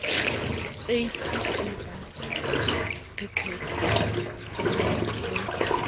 aids ke ba pepesehileng ho